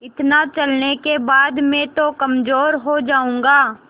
इतना चलने के बाद मैं तो कमज़ोर हो जाऊँगा